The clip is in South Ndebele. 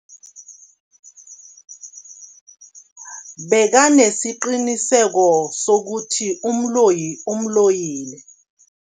Bekanesiqiniseko sokuthi umloyi umloyile.